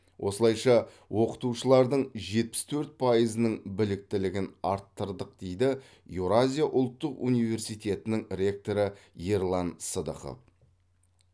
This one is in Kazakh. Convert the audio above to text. осылайша оқытушылардың жетпіс төрт пайызының біліктілігін арттырдық дейді еуразия ұлттық университетінің ректоры ерлан сыдықов